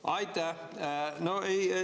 Aitäh!